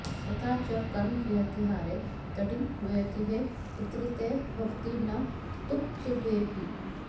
तथा च कर्मव्यतिहारे तङि व्यतिहे इत्यत्रैव भवति न तूक्तद्वयेऽपि